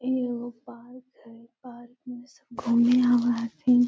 एगो पार्क है पार्क में सब घूमे आवे हथीन।